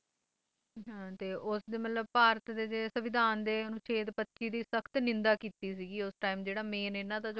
ਤੇ ਉਸਦੇ ਮਤਲਬ ਭਾਰਤ ਦੇ ਸਵਿਧਾਨ ਅਨੁਛੇਦ ਪੱਚੀ ਦੀ ਸੱਖਤ ਨਿੰਦਾ ਕੀਤੀ ਸੀਗੀ ਉਸ Time ਜਿਹੜਾ Main ਇਨ੍ਹਾਂ ਦਾ ਸਰਪ੍ਰਸਤ ਸੀਗਾ